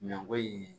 Nako ye